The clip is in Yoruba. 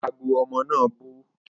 Ago omo na bu